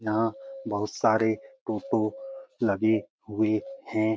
यहाँ बहुत सारे टोटो लगे हुए हैं।